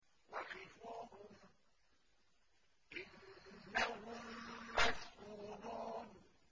وَقِفُوهُمْ ۖ إِنَّهُم مَّسْئُولُونَ